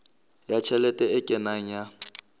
ya tjhelete e kenang ya